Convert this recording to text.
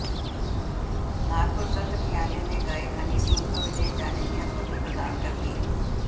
नागपुर सत्र न्यायालय ने गायक हनी सिंह को विदेश जाने की अनुमति प्रदान कर दी